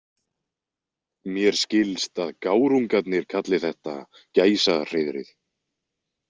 Mér skilst að gárungarnir kalli þetta Gæsahreiðrið.